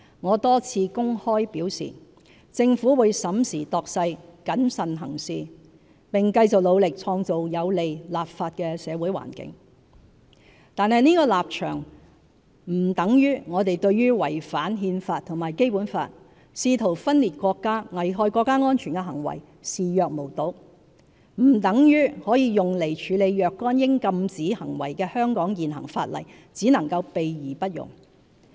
我多次公開表示，政府會審時度勢，謹慎行事，並繼續努力創造有利立法的社會環境，但這立場並不等於我們對違反憲法和《基本法》，試圖分裂國家，危害國家安全的行為視若無睹，也不等於可用來處理若干應禁止行為的香港現行法例只能"備而不用"。